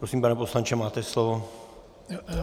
Prosím, pane poslanče, máte slovo.